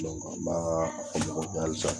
an b'a fɔ ma ko halisa